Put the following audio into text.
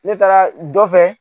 Ne taara dɔ fɛ